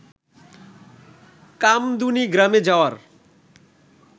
কামদুনি গ্রামে যাওয়ার